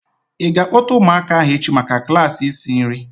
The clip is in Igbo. I ga-akpota ụmụaka ahu echi maka klaasị isi nri?